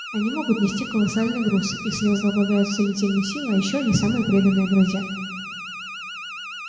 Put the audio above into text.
они могут нести колоссальный груз их слёзы обладают целительной силой и ещё они самые преданные друзья